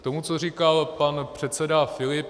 K tomu, co říkal pan předseda Filip.